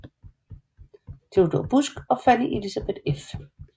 Theodor Busck og Fanny Elisabeth f